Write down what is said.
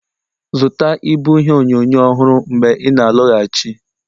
zụta ịbụ ihe onyonyo ọhụrụ mgbe ị na-alọghachi